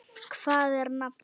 Hvað er nafnið?